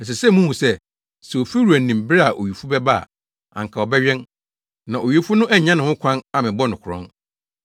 Ɛsɛ sɛ muhu sɛ, sɛ ofiwura nim bere a owifo bɛba a, anka ɔbɛwɛn na owifo no annya ne ho kwan ammɛbɔ no korɔn.